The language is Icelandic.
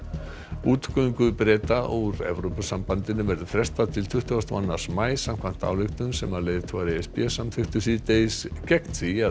útgöngu Breta úr Evrópusambandinu verður frestað til tuttugasta og annars maí samkvæmt ályktun sem leiðtogar e s b samþykktu síðdegis gegn því að